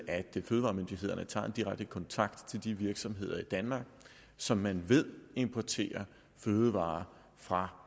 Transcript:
at fødevaremyndighederne tager en direkte kontakt til de virksomheder i danmark som man ved importerer fødevarer fra